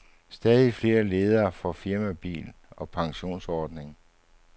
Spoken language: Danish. Stadig flere ledere får firmabil og pensionsordning.